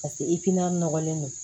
Paseke i tina nɔgɔlen don